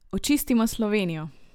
Očistimo Slovenijo!